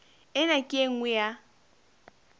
ena ke e nngwe ya